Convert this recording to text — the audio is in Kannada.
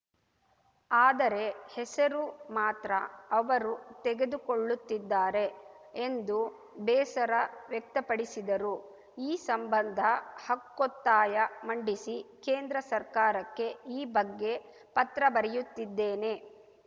ಆದರೆ ಹೆಸರು ಮಾತ್ರ ಅವರು ತೆಗೆದುಕೊಳ್ಳುತ್ತಿದ್ದಾರೆ ಎಂದು ಬೇಸರ ವ್ಯಕ್ತಪಡಿಸಿದರು ಈ ಸಂಬಂಧ ಹಕ್ಕೊತ್ತಾಯ ಮಂಡಿಸಿ ಕೇಂದ್ರ ಸರ್ಕಾರಕ್ಕೆ ಈ ಬಗ್ಗೆ ಪತ್ರ ಬರೆಯುತ್ತಿದ್ದೇನೆ